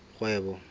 kgwebo